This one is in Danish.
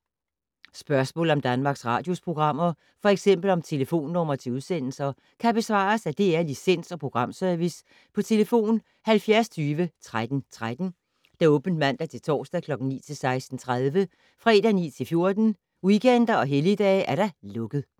Spørgsmål om Danmarks Radios programmer, f.eks. om telefonnumre til udsendelser, kan besvares af DR Licens- og Programservice: tlf. 70 20 13 13, åbent mandag-torsdag 9.00-16.30, fredag 9.00-14.00, weekender og helligdage: lukket.